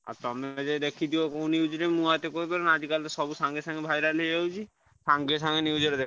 ଆଉ ତମେ ଯାଇ ଦେଖିଦିଆ କୋଉ news ରେ ମୁଁ ଆଉ ଏତେ କହିପାରିବି ନାଁ ଆଜି କାଲି ତ ସବୁ ସାଙ୍ଗେ ସାଙ୍ଗେ viral ହେଇଯାଉଛି ସାଙ୍ଗେ ସାଙ୍ଗେ news ରେ ଦେଖ।